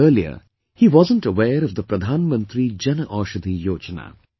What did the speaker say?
Earlier, he wasn't aware of the Pradhan Mantri Jan Aushadhi Yojana